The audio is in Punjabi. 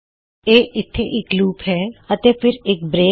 ਲੂਪ ਇਥੇ ਹੈ ਅਤੇ ਫਿਰ ਇੱਕ ਬਰੇਕ